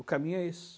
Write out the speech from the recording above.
O caminho é esse.